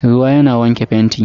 Ruwa yana wanke fenti.